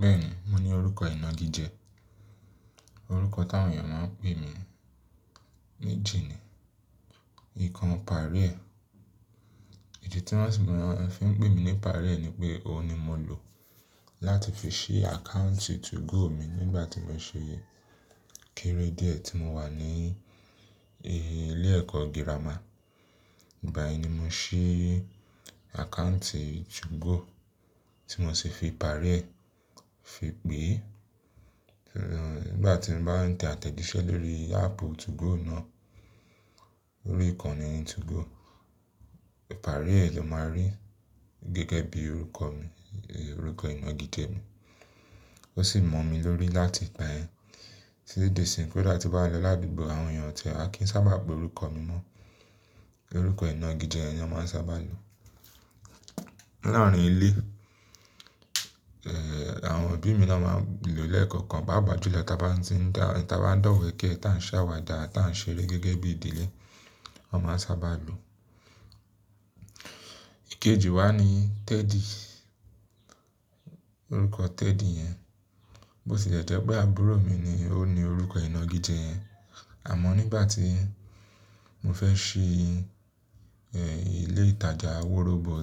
Bẹ́ẹ̀ni, mo ní orúkọ ìnagijẹ, orúkọ tí àwọn èèyàn máa ń pè mí níjì Ikan Pare. Ìdí tí wọ́n fi ń pè mí ní Pare ni pé òun ni mo lò láti fi ṣí àkáǹtì 2go mi nígbà tí mo ṣe kéré díẹ̀ tí mo wà ní ilé ẹ̀kọ́ girama. Ìgbà yẹn ni mo ṣí àkáǹtì 2go tí mo sì fi Pare fi pè é. Nígbà tín bá ń tẹ àtẹ̀jíṣẹ́ lórí áàpù 2go náà, orí ìkànnì 2go, Pare ló máa rí gẹ́gẹ́ bí orúkọ mi, orúkọ ìnagijẹ mi. Ó sì mọ̀ mí lórí láti ìgbà yẹn. Tití dí isìn kódà ti bá lọ ládùúgbò àwọn èèyàn o tìẹ̀ wa kí ń sábà pé orúkọ mi mọ́. Orúkọ ìnagijẹ yẹn ni wọ́n sábà lò. Láàárín ilé, àwọn òbí mi ló máa ń lò lẹ́ẹ̀kan kan, pàápàá júlọ tí a bá ń dọ̀wẹ̀kẹ tá ń ṣàwàdà tá ń ṣeré gẹ́gẹ́ bí ìdílé, wọ́n máa sábà lò. Ìkejì wa ni Teddy, orúkọ Teddy yẹn. Bó ti lẹ́ jẹ́ pé àbúrò mi ni ó ní orúkọ ìnagijẹ yẹn. Àmọ́ nígbà tí mo fẹ́ ṣí ilé ìtajà wórọ́bọ̀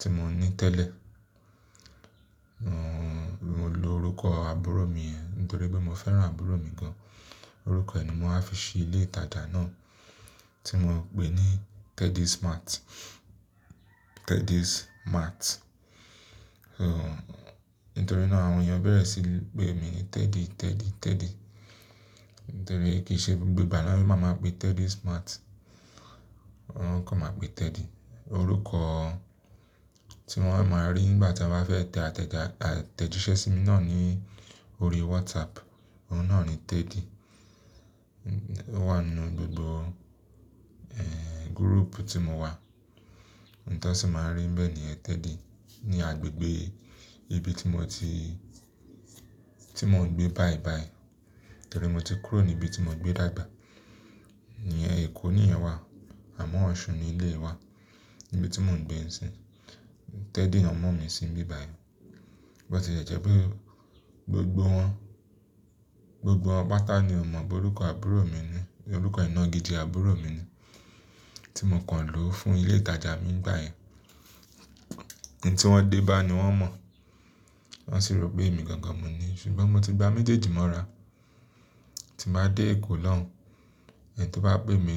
tí mo ní tẹ́lẹ̀, mo lo orúkọ àbúrò mi yẹn nítorí pé mo fẹ́ràn àbúrò mi gan. Orúkọ rẹ̀ ni mọ wá fi ṣí ilé ìtajà náà tí mo pè ní Teddy's Mart. Teddy's Mart. Nítorí náà àwọ n èèyàn bẹ́ẹ̀ rẹ sì pè mí Teddy, Teddy, Teddy. Nítorí kíi ṣe gbogbo ìgbà ni wọ́n má ma pè Teddy's Mart. Wọ́n kàn má pè Teddy. Orúkọ tí wọ́n máa rí nígbà tí wọ́n bá fẹ́ tẹ àtẹ̀jíṣẹ́ sí mi náà ní orí WhatsApp, òun náà ni Teddy. Ó wà nínú gbogbo group tí mọ wà. Ntó sì máa ń rí bẹ́ẹ̀ nìyẹn Teddy ní agbègbè ibi tí mọ ti ń mọ gbé báyìí báyìí. Nítorí mo ti kúrò ní ibi tí mọ gbé dàgbà. Ìyẹn ẹ̀kọ́ níyen wá àmọ́ Ọ̀ṣun ni eleyii wa níbi tí mò ń gbé sí. Teddy lọ mọ́ mi sí bíbàyí. Bó tilẹ jẹ́ pé gbogbo wọn, gbogbo wọn pátá ni ó mọ̀ pé orúkọ àbúrò mi ni, orúkọ ìnagijẹ àbúrò mi ni tí mo kàn lò fún ilé ìtajà mi nígbà yẹn. Ì tí wọ́n dé bá ni wọ́n mọ̀. Wọ́n sì rò pé èmi gangan mọ ni. Ṣùgbọ́n mo ti gba méjèèjì mọ́ra. Tí màá dé Èkó lọ́hun, ẹni tí ó bá pè mí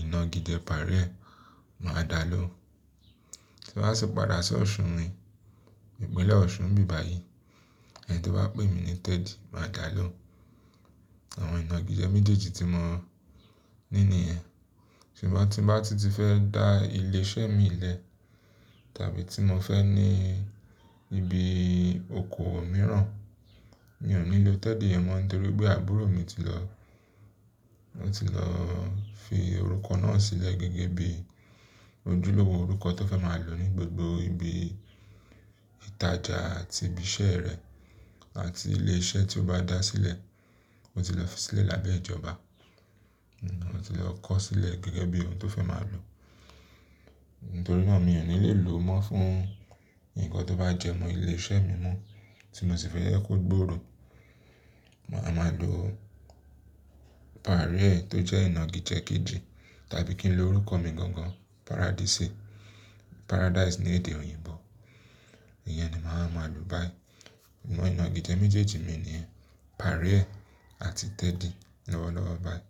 ìnagijẹ Pare máa dà lohun Tí n ba sì padà sí Ọ̀ṣun mi, Ìpínlẹ̀ Ọ̀ṣun bíbàyí, ẹni tó bá pè mí ní Teddy máa dà lọ́hun. Àwọn ìnagijẹ méjèèjì tí mọ ní ni yẹn. Ṣùgbọ́n tí n ba tún ti fẹ́ dá ilé iṣẹ́ mi lẹ́ẹ̀ tàbí tí mo fẹ́ ní ibi ọkọ mìíràn, mi ò ní lò Teddy yẹn mọ́ nítorí pé àbúrò mi ti lọ fi orúkọ náà sílẹ̀ gẹ́gẹ́ bí ojúlówó orúkọ tó fẹ́ máa lò ní gbogbo ibi ìtajà àti ibi iṣẹ́ rẹ̀ àti ilé iṣẹ́ tí ó bá dá sílẹ̀. Ó ti lọ fi sílẹ̀ lábẹ́ ìjọba. Ó ti lọ kó sílẹ̀ gẹ́gẹ́bí òun tó fẹ́ máa lò. Nítorí náà mi ò ní lè lò mọ́ fún ǹkan tó bá jẹ́ mọ́ ilé iṣẹ́ mi mọ́ tí mọ sì fẹ́ kí ó gbòòrò. Màá ma lò Pare tó jẹ́ ìnagijẹ kejì tàbí kí n lo orúkọ mi gangan Paradise. Paradise ni èdè òyìnbó. Ìyẹn ni mà wa ma lò báyìí. Awọn ìnagijẹ méjèèjì mi ni Pare àti Teddy lọ́wọ́lọ́wọ́ báyìí.